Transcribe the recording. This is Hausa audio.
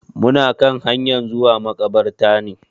Muna kan hanyan zuwa maƙabarta ne.